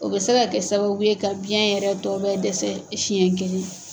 O bɛ se ka kɛ sababu ye ka biɲɛ yɛrɛ tɔ bɛ dɛsɛ siɲɛ kelen.